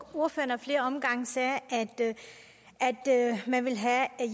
ordføreren ad flere omgange sagde at man ville have